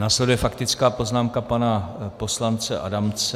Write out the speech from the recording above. Následuje faktická poznámka pana poslance Adamce.